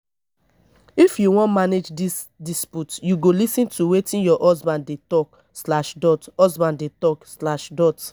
if you wan manage dis dispute you go lis ten to wetin your husband dey talk slash dot husband dey tok slash dot